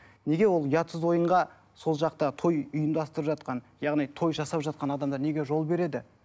неге ол ұятсыз ойынға сол жақтағы той ұйымдастырып жатқан яғни той жасап жатқан адамдар неге жол береді